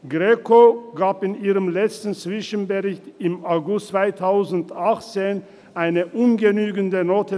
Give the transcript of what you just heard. Greco gab der Schweiz in ihrem letzten Zwischenbericht im August 2018 eine ungenügende Note.